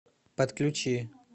подключи